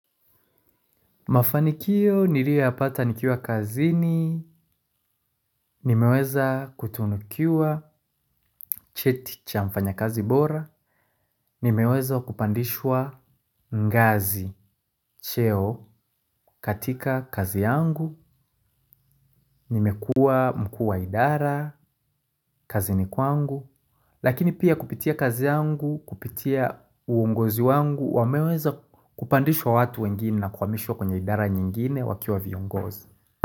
Mafanikio nilio yapata nikiwa kazini, nimeweza kutunukiwa cheti cha mfanyakazi bora, nimeweza kupandishwa ngazi, cheo katika kazi yangu, nimekuwa mkuu wa idara, kazini kwangu, lakini pia kupitia kazi yangu, kupitia uongozi wangu, wameweza kupandishwa watu wengine na kuhamishwa kwenye idara nyingine wakiwa viongozi.